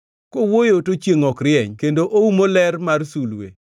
Kowuoyo to chiengʼ ok rieny kendo oumo ler mar sulwe.